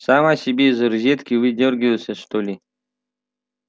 сама себя из розетки выдёргивает что ли